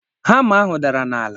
Hama ahụ dara n'ala.